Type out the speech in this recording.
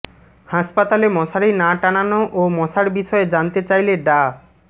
হাসপাতালে মশারি না টানানো ও মশার বিষয়ে জানতে চাইলে ডা